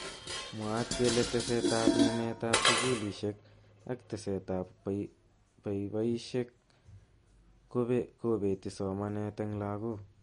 Mwaat kele teset ab ng'emet ab sukulishek ak teset ab boiboishek kobeti somanet eng lakok.